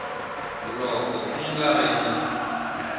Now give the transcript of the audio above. loko ku nga ri na